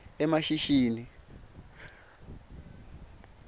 emashishini